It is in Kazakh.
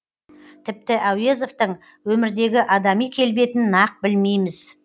тіпті әуезовтің өмірдегі адами келбетін нақ білмейміз